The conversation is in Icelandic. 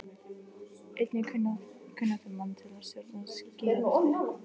Einnig kunnáttumann til að stjórna skíðalyftu.